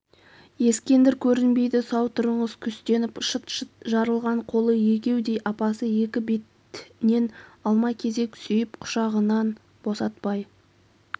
ескендір көрінбейді сау тұрыңыз күстеніп шыт-шыт жарылған қолы егеудей апасы екі бетнен алма-кезек сүйп құшағынан босатпай